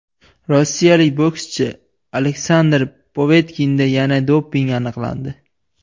Rossiyalik bokschi Aleksandr Povetkinda yana doping aniqlandi.